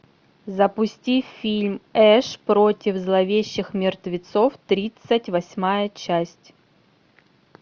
запусти фильм эш против зловещих мертвецов тридцать восьмая часть